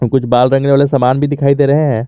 कुछ बाल रंगने वाले सामान भी दिखाई दे रहे हैं।